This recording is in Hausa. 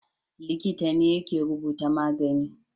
Likita ne yake rubuta magani